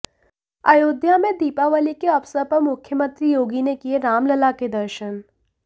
अयोध्या में दीपावली के अवसर पर मुख्यमंत्री योगी ने किए रामलला के दर्शन